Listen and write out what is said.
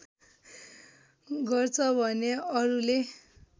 गर्छ भने अरूले